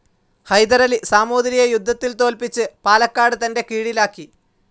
ഹൈദരലി സാമൂതിരിയെ യുദ്ധത്തിൽ തോൽപ്പിച്ച്‌ പാലക്കാട്‌ തന്റെ കീഴിലാക്കി.